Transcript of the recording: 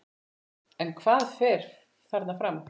En hvað fer þarna fram?